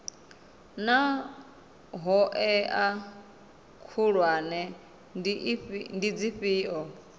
naa hoea khulwane ndi dzifhio